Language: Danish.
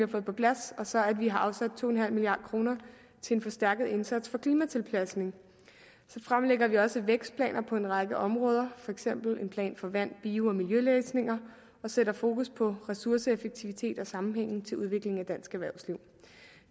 på plads og så har vi afsat to milliard kroner til en forstærket indsats for klimatilpasning så fremlægger vi også vækstplaner på en række områder for eksempel en plan for vand bio og miljøløsninger og sætter fokus på ressourceeffektivitet og sammenhængen til udviklingen af dansk erhvervsliv